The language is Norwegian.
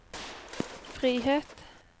frihet